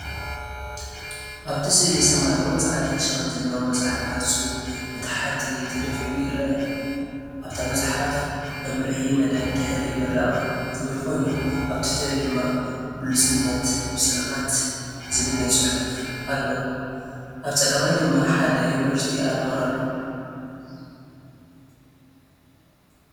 ኣብቲ ስእሊ ሰማያውን ጻዕዳን ሽፋን ዘለዎ መጽሓፍ ገጹ ንታሕቲ ተደፊኡ ይርአ። ኣብታ መጽሓፍ “መምርሒ መደብ ድሕረ ምረቓ” ዝብል ኮይኑ፡ ኣብ ትሕቲኡ ድማ “ብሉጽነት ብጽንዓት!!!” ዝብል ናይ ጽሑፍ ኣሎ። ኣብ ጸጋማይ ድማ ሓደ ዩኒቨርሲቲ ኣርማ ኣሎ።